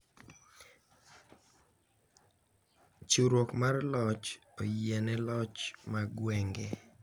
Chiwruok mar loch oyiene loch mar gwenge